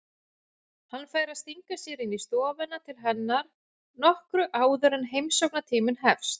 Hann fær að stinga sér inn í stofuna til hennar nokkru áður en heimsóknartíminn hefst.